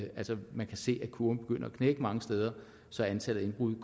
man kan se at kurven begynder at knække mange steder så antallet af indbrud